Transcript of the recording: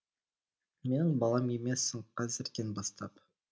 менің балам емессің қазірден бастап